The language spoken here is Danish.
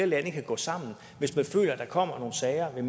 lande kan gå sammen hvis der kommer nogle sager ved